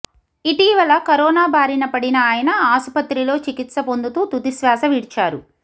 ఇటీవల కరోనా బారిన పడిన ఆయన ఆసుపత్రిలో చికిత్స పొందుతూ తుదిశ్వాస విడిచారు